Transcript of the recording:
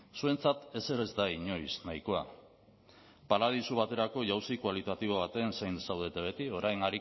zuentzat ezer ez da inoiz nahikoa paradisu baterako jauzi kualitatibo baten zain zaudete beti orain